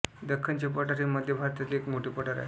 दख्खनचे पठार हे मध्य भारतातील एक मोठे पठार आहे